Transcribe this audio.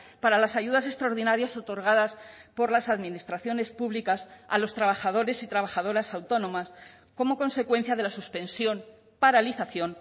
para las ayudas extraordinarias otorgadas por las administraciones públicas a los trabajadores y trabajadoras autónomas como consecuencia de la suspensión paralización